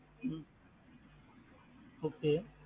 ஹம் Okay.